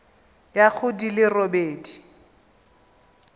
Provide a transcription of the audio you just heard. ya go di le robedi